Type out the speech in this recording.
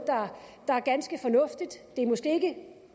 der er ganske fornuftigt det er måske ikke